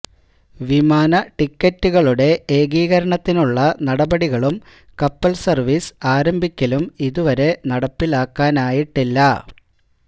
വിമാന ടിക്കറ്റുകളുടെ ഏകീകരണത്തിനുളള നടപടികളും കപ്പൽ സർവീസ് ആരംഭിക്കലും ഇതുവരെ നടപ്പിലാക്കാനായിട്ടില്ല